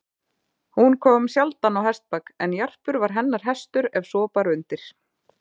Hún kom sjaldan á hestbak, en Jarpur var hennar hestur ef svo bar undir.